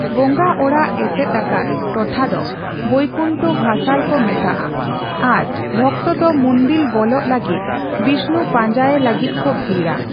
ᱵᱚᱸᱜᱟ ᱚᱲᱟᱜ ᱮᱥᱮᱫ ᱟᱠᱟᱫ ᱴᱚᱴᱷᱟ ᱫᱚ ᱵᱚᱹᱭᱠᱩᱱᱴᱷᱚ ᱵᱷᱟᱥᱟᱞ ᱠᱚ ᱢᱮᱛᱟᱜᱼᱟ ᱟᱨ ᱵᱷᱚᱠᱛᱚ ᱫᱚ ᱢᱩᱱᱫᱤᱞ ᱵᱚᱞᱚᱜ ᱞᱟᱹᱜᱤᱫ, ᱵᱤᱥᱱᱩ ᱯᱟᱸᱡᱟᱭᱮ ᱞᱟᱹᱜᱤᱫ ᱠᱚ ᱵᱷᱤᱲᱟ ᱾